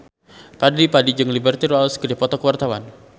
Fadly Padi jeung Liberty Ross keur dipoto ku wartawan